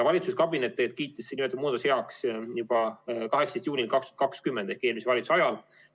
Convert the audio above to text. Valitsuskabinet kiitis nimetatud muudatuse heaks juba 18. juulil 2020 ehk eelmise valitsuse ajal.